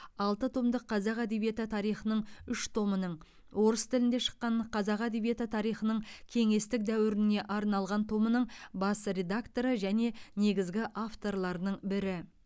алты томдық қазақ әдебиеті тарихының үш томының орыс тілінде шыққан қазақ әдебиеті тарихының кеңестік дәуіріне арналған томының бас редакторы және негізгі авторларының бірі